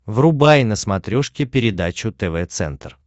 врубай на смотрешке передачу тв центр